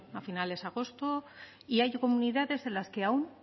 a finales de agosto y hay comunidades en las que aún